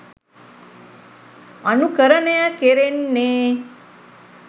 අනුකරණය කෙරෙන්නේ